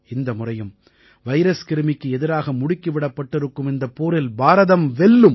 இந்த முறையும் வைரஸ் கிருமிக்கு எதிராக முடுக்கி விடப்பட்டிருக்கும் இந்தப் போரில் பாரதம் வெல்லும்